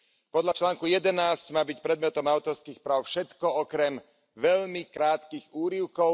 Podľa článku 11 má byť predmetom autorských práv všetko okrem veľmi krátkych úryvkov.